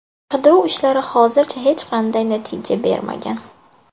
Qidiruv ishlari hozircha hech qanday natija bermagan.